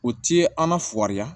O ti an lafɔri yan